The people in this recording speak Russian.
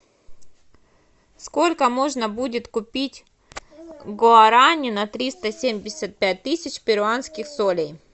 сколько можно будет купить гуарани на триста семьдесят пять тысяч перуанских солей